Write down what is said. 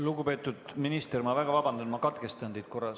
Lugupeetud minister, ma väga vabandan, ma katkestan teid korra.